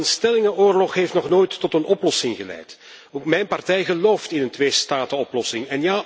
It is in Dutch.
Maar een stellingenoorlog heeft nog nooit tot een oplossing geleid. Ook mijn partij gelooft in een tweestatenoplossing.